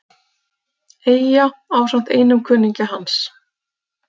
Eyja ásamt einum kunningja hans.